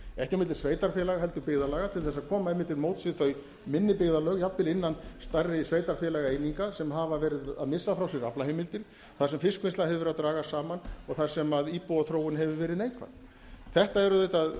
ekki á milli sveitarfélaga heldur byggðarlaga til þess að koma einmitt til móts við þau minni byggðarlög jafnvel innan stærri sveitarfélagaeininga sem hafa verið að missa frá sér aflaheimildir þar sem fiskvinnsla hefur verið að dragast saman og þar sem íbúaþróun hefur verið neikvæð þetta eru auðvitað